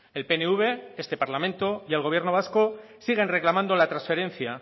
el pnv este parlamento y el gobierno vasco siguen reclamando la transferencia